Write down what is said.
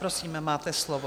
Prosím, máte slovo.